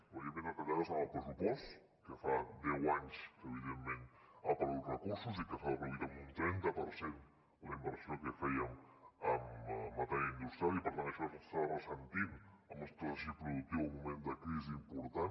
evidentment retallades en el pressupost que fa deu anys que evidentment ha perdut recursos i que ha reduït en un trenta per cent la inversió que fèiem en matèria industrial i per tant d’això se n’està ressentint el nostre teixit productiu en un moment de crisi important